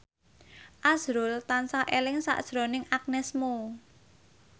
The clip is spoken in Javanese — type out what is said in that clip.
azrul tansah eling sakjroning Agnes Mo